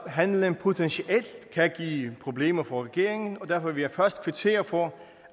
handlen potentielt kan give problemer for regeringen og derfor vil jeg først kvittere for